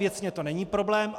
Věcně to není problém.